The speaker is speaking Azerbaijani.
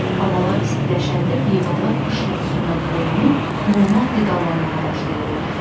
Havalar istiləşəndə heyvanlar qış yuxusundan oyanıb normal qidalanmağa başlayırlar.